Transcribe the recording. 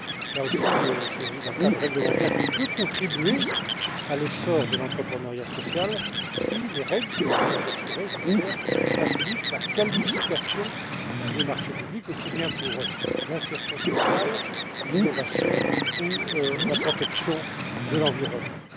Là aussi, il s'agit d'un cadre réglementaire qui peut contribuer à l'essor de l'entrepreneuriat social si les règles que vous adopterez je l'espère facilitent la qualification des marchés publics, aussi bien pour l'insertion sociale, l'innovation que la protection de l'environnement.